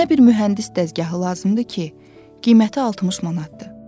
Mənə bir mühəndis dəzgahı lazımdır ki, qiyməti 60 manatdır.